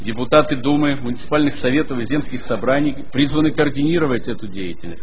депутаты думы в муниципальных советов и земских собраний призваны координировать эту деятельность